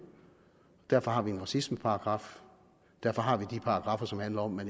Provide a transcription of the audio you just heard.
derfor har vi en racismeparagraf og derfor har vi de paragraffer som handler om at